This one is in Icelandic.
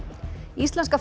íslenska